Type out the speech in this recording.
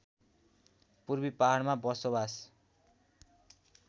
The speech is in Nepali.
पूर्वी पहाडमा बसोवास